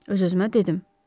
Öz-özümə dedim.